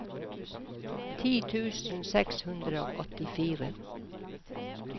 ti tusen seks hundre og åttifire